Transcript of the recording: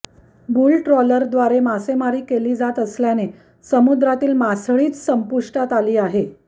बुलट्रॉलरद्वारे मासेमारी केली जात असल्याने समुद्रातील मासळीच संपुष्टात आली आहे